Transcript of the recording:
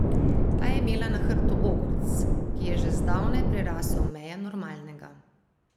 Ta je imela na hrbtu ogrc, ki je že zdavnaj prerasel meje normalnega.